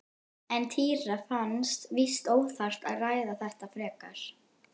En Týra fannst víst óþarft að ræða þetta frekar.